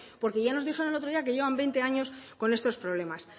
porque ya nos dijeron el otro día que llevan veinte años con estos problemas